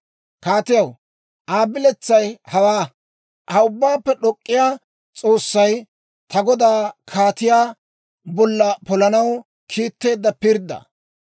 «Kaatiyaw, Aa biletsay hawaa. Hawe Ubbaappe d'ok'k'iyaa S'oossay ta godaa kaatiyaa bolla polanaw kiitteedda pirddaa.